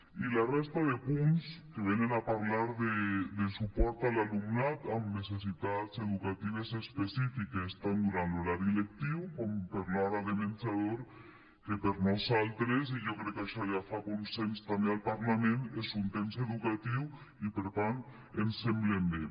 i la resta de punts venen a parlar de suport a l’alumnat amb necessitats educatives específiques tant durant l’horari lectiu com per a l’hora de menjador que per nosaltres i jo crec que això ja fa consens també al parlament és un temps educatiu i per tant ens semblen bé